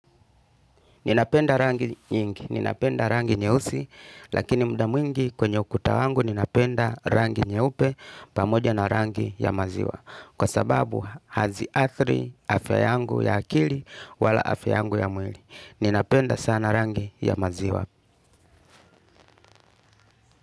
Ninapenda rangi nyingi, ninapenda rangi nyeusi, lakini mda mwingi kwenye ukuta wangu ninapenda rangi nyeupe, pamoja na rangi ya maziwa. Kwa sababu haziathri, afya yangu ya akili, wala afya yangu ya mwili. Ninapenda sana rangi ya maziwa.